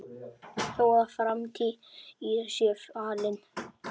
Þó að framtíð sé falin